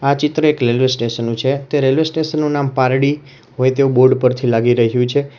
આ ચિત્ર એક રેલવે સ્ટેશન નું છે તે રેલવે સ્ટેશન નું નામ પારડી હોય તેવું બોર્ડ પરથી લાગી રહ્યું છે.